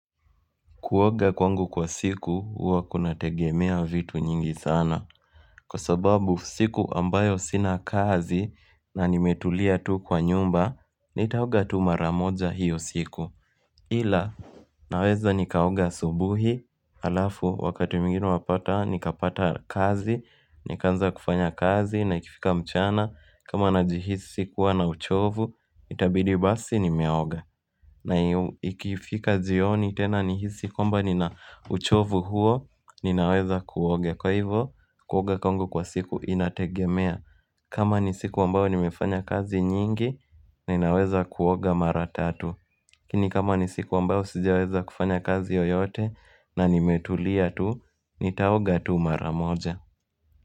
Kuoga kwangu kwa siku uwa kunategemea vitu nyingi sana Kwa sababu siku ambayo sina kazi na nimetulia tu kwa nyumba Nitaoga tu mara moja hiyo siku Ila naweza nikaoga asubuhi Alafu wakati mwingine unapata nikapata kazi Nikaanza kufanya kazi na ikifika mchana kama najihisi kuwa na uchovu Itabidi basi nimeoga na ikifika jioni tena nihisi kwamba nina uchovu huo ninaweza kuoga. Kwa hivo kuoga kwangu kwa siku inategemea. Kama ni siku ambayo nimefanya kazi nyingi ninaweza kuoga mara tatu. Lakini kama ni siku ambayo sijaweza kufanya kazi yoyote na nimetulia tuu nitaoga tu mara moja.